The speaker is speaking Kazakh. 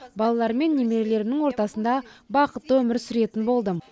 балаларым мен немерелерімнің ортасында бақытты өмір сүретін болдым